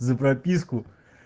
за прописку